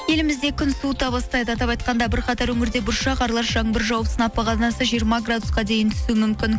елімізде күн суыта бастайды атап айтқанда бір қатар өңірде бұршақ аралас жаңбыр жауып сынап бағанасы жиырма градусқа дейін түсуі мүмкін